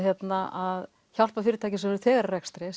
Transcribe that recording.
að hjálpa fyrirtækjum sem eru þegar í rekstri